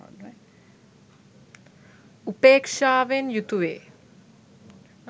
උපේක්ෂාවෙන් යුතුවේ.